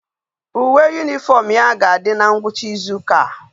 Uwe uniform ya ga adi na ngwucha Izu uka a